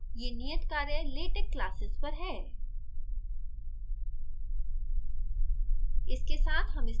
सामान्यतः यह नियत कार्य latex classes पर है